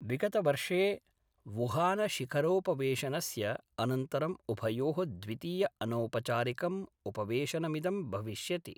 विगतवर्षे वुहानशिखरोपवेशनस्य अनन्तरं उभयो: द्वितीय अनौपचारिकं उपवेशनमिदं भविष्यति।